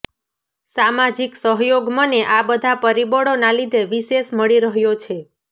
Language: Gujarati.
સામાજિક સહયોગ મને આ બધા પરીબળોના લીધે વિશેષ મળી રહ્યો છે